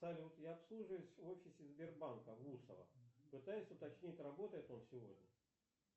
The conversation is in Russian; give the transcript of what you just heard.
салют я обслуживаюсь в офисе сбербанка в усово пытаюсь уточнить работает он сегодня